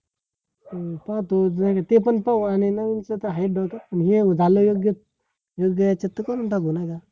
अं पाहतो नाय तर ते पण पाहू आणि नवीन चं तर हायच पण हे झाल योग्य तर योग्य ह्याच्यात तर करून टाकू नाय का?